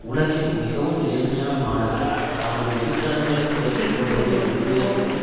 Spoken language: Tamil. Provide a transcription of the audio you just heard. உலகில் மிகவும் ஏழ்மையான நாடுகள் தமது வெளிக்கடன்களை குறைத்து கொள்வதை உறுதியளிக்கவும்